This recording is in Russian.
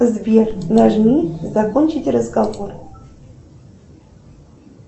сбер нажми закончить разговор